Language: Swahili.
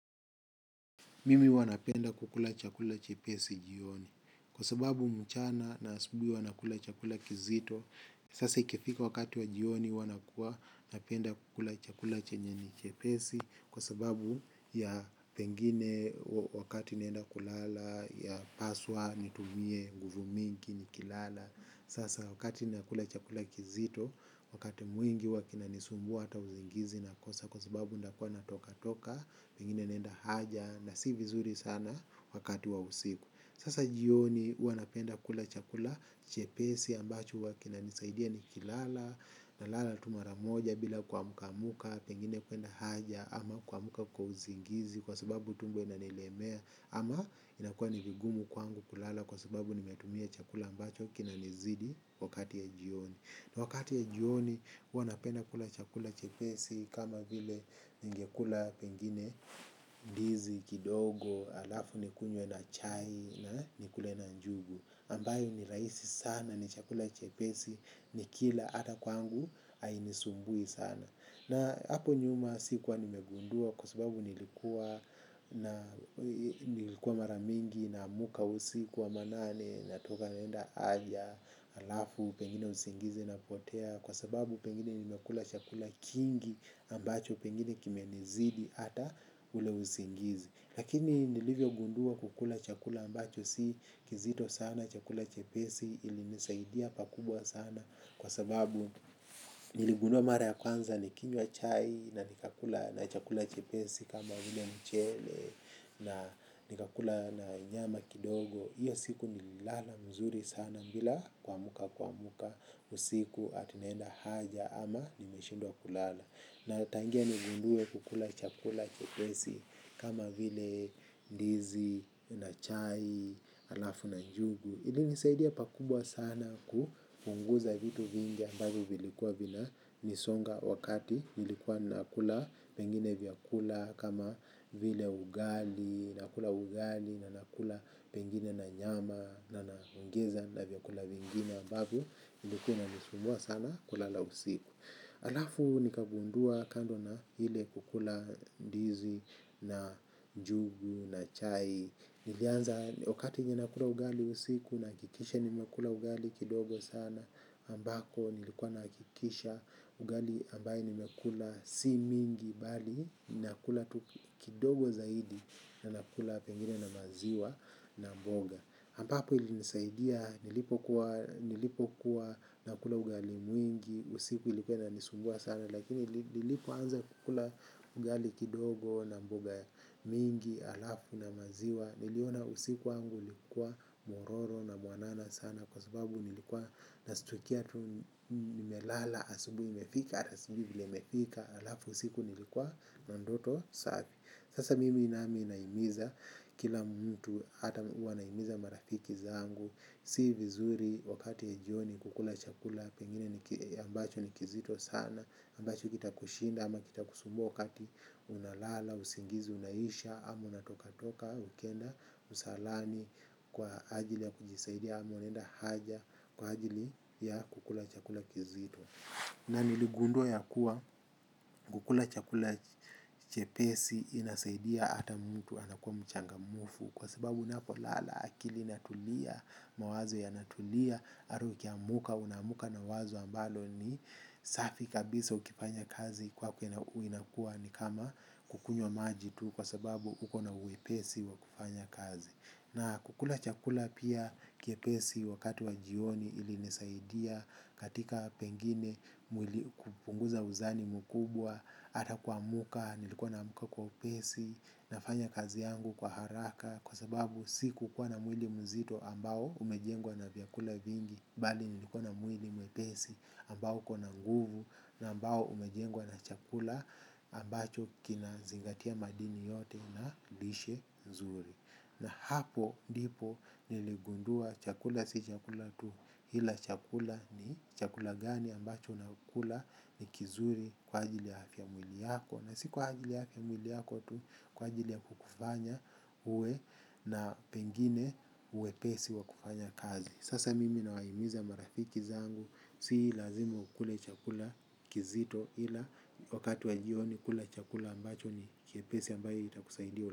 Mimi huwa napenda kukula chakula chepesi jioni. Kwa sababu mchana na asubui huwa nakula chakula kizito, sasa ikifika wakati wa jioni uwa napenda kukula chakula chenye ni chepesi kwa sababu ya pengine wakati nienda kulala, yapaswa nitumie, nguvu mingi, nikilala. Sasa wakati nakula chakula kizito, wakati mwingi uwa kinanisumbu hata uzingizi nakosa. Kwa sababu ndakua natoka toka, pengine nenda haja na si vizuri sana wakati wa usiku. Sasa jioni ua napenda kula chakula chepesi ambacho wakina nisaidia ni kilala. Na lala tu mara moja bila kwamuka muka, pengine kuenda haja ama kwamuka kwa uzingizi. Kwa sababu tumbo inanilemea ama inakua ni vigumu kwangu kulala. Kwa sababu nimetumia chakula ambacho kinanizidi wakati ya jioni. Na wakati ya jioni uwa napenda kula chakula chepesi kama vile ningekula pengine ndizi, kidogo, alafu nikunye na chai na nikule na njugu. Ambayo ni raisi sana ni chakula chepesi nikila ata kwangu ainisumbui sana. Na hapo nyuma sikuwa nimegundua kwa sababu nilikuwa maramingi namuka usiku wa manane natoka naenda aja alafu pengine usingizi napotea kwa sababu pengine nimekula chakula kingi ambacho pengine kimenizidi ata ule usingizi. Lakini nilivyo gundua kukula chakula ambacho si kizito sana chakula chepesi ili nisaidia pakubwa sana kwa sababu niligundua mara ya kwanza ni kinywa chai na ni kakula na chakula chepesi kama hile mchele na nikakula na nyama kidogo. Iyo siku nilala mzuri sana bila kwamuka kwamuka. Usiku ati neenda haja ama nimeshindua kulala. Na tangia nigundue kukula chakula chepesi. Kama vile ndizi na chai, alafu na njugu ilinisaidia pakubwa sana kupunguza vitu vingi ambazo vilikuwa vinanisonga wakati nilikuwa nakula pengine vyakula kama vile ugali, nakula ugali na nakula pengine na nyama na naongeza na vyakula vingine ambavo nilikuwa inanisumbua sana kulala usiku. Alafu nikagundua kando na hile kukula dizi na njugu na chai. Nilianza wakati ninakula ugali usiku nakikisha nimekula ugali kidogo sana ambako nilikuwa nakikisha ugali ambaye nimekula si mingi bali nakula kidogo zaidi na nakula pengine na maziwa na mboga ambapo ilinisaidia nilipo kuwa nakula ugali mwingi usiku ilikuwa inanisumbua sana lakini nilipoanza kukula ugali kidogo na mboga mingi alafu na maziwa niliona usiku wangu likua mororo na mwanana sana. Kwa sababu nilikuwa nasitukia tu nime lala asubui imefika. Atasijui vile imefika alafu usiku nilikuwa na ndoto safi. Sasa mimi nami inaimiza kila mtu ata wanaimiza marafiki zangu. Si vizuri wakati wa jioni kukula chakula pengine ambacho ni kizito sana ambacho kita kushinda ama kita kusumbua wakati unalala, usingizi, unaisha. Ama unatoka toka, ukienda, msalani kwa ajili ya kujisaidia. Mwanenda haja kwa hajili ya kukula chakula kizito. Na niligundua ya kuwa kukula chakula chepesi inasaidia ata mtu anakuwa mchangamufu. Kwa sababu unako lala akili inatulia mawazo yanatulia Aru ukiamuka unamuka na wazo ambalo ni safi kabisa ukifanya kazi kwako inakua ni kama kukunyo maji tu. Kwa sababu ukona uwepesi wa kufanya kazi. Na kukula chakula pia kiepesi wakati wa jioni ilinisaidia katika pengine kupunguza uzani mukubwa. Ata kwamuka nilikuwa namuka kwa upesi nafanya kazi yangu kwa haraka. Kwa sababu si kukua na mwili mzito ambao umejengwa na vyakula vingi. Bali nilikuwa na mwili mwepesi ambao uko na nguvu na ambao umejengwa na chakula ambacho kina zingatia madini yote na lishe nzuri. Na hapo ndipo niligundua chakula si chakula tu ila chakula ni chakula gani ambacho na ukula ni kizuri kwa ajili ya hafia ya mwili yako. Na si kwa ajili ya hafia ya mwili yako tu kwa ajili ya kukufanya uwe na pengine uwe pesi wa kufanya kazi. Sasa mimi nawaimiza marafiki zangu si lazima ukule chakula kizito ila wakati wa jioni kula chakula ambacho ni kiepesi ambayo itakusaidia.